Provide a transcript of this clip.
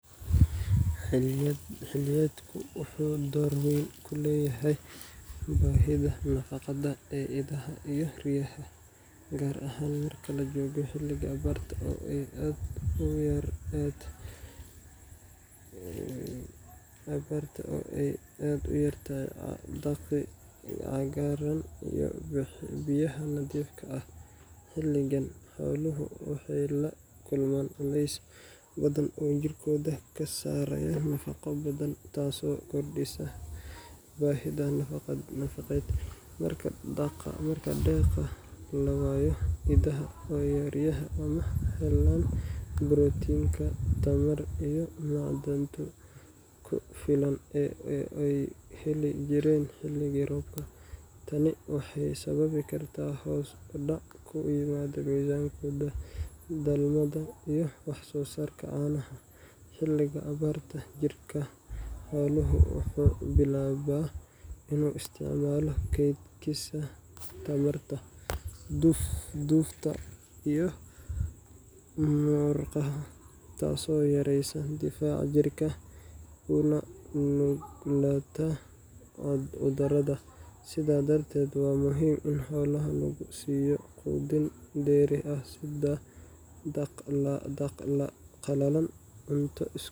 Xilliyeedku wuxuu door weyn ku leeyahay baahida nafaqada ee idaha iyo riyaha, gaar ahaan marka la joogo xilliga abaarta, oo ay aad u yaraadaan daaqii cagaarnaa iyo biyihii nadiifka ahaa. Xilligan, xooluhu waxay la kulmaan culeysyo badan oo jirkooda ka saaraya nafaqo badan, taasoo kordhisa baahida nafaqeed. Marka daaqa la waayo, idaha iyo riyaha ma helaan borotiinka, tamarta, iyo macdanta ku filan ee ay heli jireen xilliga roobka. Tani waxay sababi kartaa hoos u dhac ku yimaada miisaankooda, dhalmada, iyo wax-soosaarka caanaha. Xilliga abaarta, jirka xooluhu wuxuu bilaabaa inuu isticmaalo kaydkiisa tamarta dufta iyo murqaha, taasoo yareysa difaaca jirka, una nuglaanta cudurrada. Sidaa darteed, waa muhiim in xoolaha lagu siiyo quudin dheeri ah sida daaq qalalan, cunto isku